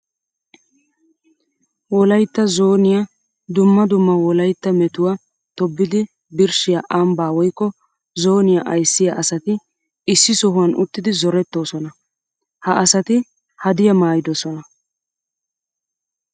Wolaytta zooniya dumma dumma wolaytta metuwa tobbiddi birshshiya ambba woykko zooniya ayssiya asatti issi sohuwan uttiddi zorettosonna. Ha asatti hadiya maayidosonna.